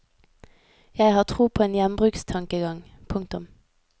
Jeg har tro på en gjenbrukstankegang. punktum